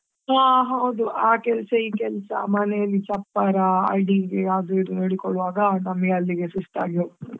ಹಾ ಹೌದು ಆ ಕೆಲ್ಸಾ ಈ ಕೆಲ್ಸಾ ಮನೆಯಲ್ಲಿ ಚಪ್ಪರಾ ಅಡಿಗೆ ಅದು ಇದು ಹೇಳಿಕೊಳ್ಳುವಾಗಾ ನಮಗೆ ಅಲ್ಲಿಗೆ ಸುಸ್ತಾಗಿ ಹೋಗ್ತದೆ.